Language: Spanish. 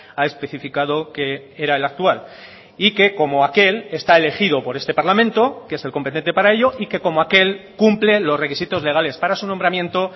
ha especificado que era el actual y que como aquel está elegido por este parlamento que es el competente para ello y que como aquel cumple los requisitos legales para su nombramiento